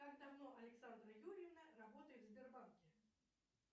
как давно александра юрьевна работает в сбербанке